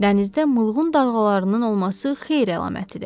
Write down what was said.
Dənizdə mulğun dalğalarının olması xeyir əlamətidir.